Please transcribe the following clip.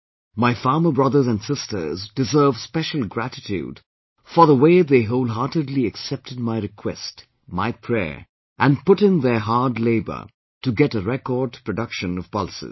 My farmer brothers and sisters deserve special gratitude for the way they wholeheartedly accepted my request, my prayer and put in their hard labour to get a record production of pulses